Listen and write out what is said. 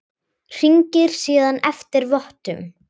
Hringir síðan eftir vottum.